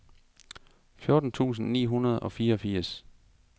fjorten tusind ni hundrede og fireogfirs